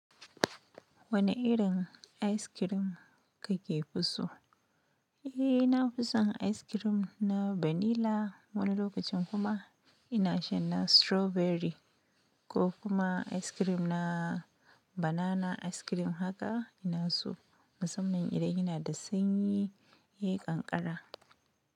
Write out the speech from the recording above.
Wane irin ice cream kake fiso? Eh, na fi son ice cream na vanilla wani lokacin kuma ina shan na strawberry ko kuma ice cream na banana ice cream haka ina so musamman idan yanada sanyi yayi ƙanƙara.